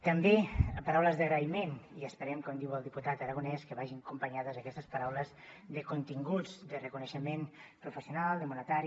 també paraules d’agraïment i esperem com diu el diputat aragonés que vagin acompanyades aquestes paraules de continguts de reconeixement professional de monetari